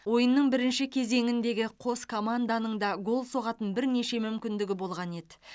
ойынның бірінші кезеңіндегі қос команданың да гол соғатын бірнеше мүмкіндігі болған еді